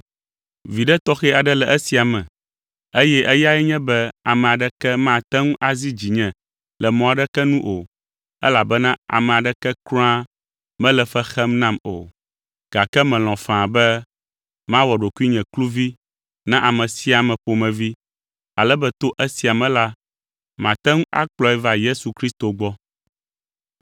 Viɖe tɔxɛ aɖe le esia me, eye eyae nye be ame aɖeke mate ŋu azi dzinye le mɔ aɖeke nu o, elabena ame aɖeke kura mele fe xem nam o. Gake melɔ̃ faa be mawɔ ɖokuinye kluvi na ame sia ame ƒomevi, ale be to esia me la, mate ŋu akplɔe va Yesu Kristo gbɔ.